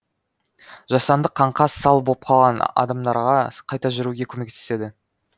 жасанды қаңқа сал боп қалған адамдарға қайта жүруге көмектеседі